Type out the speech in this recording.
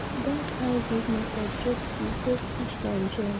that hybrid method get fish get fish pond join